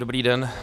Dobrý den.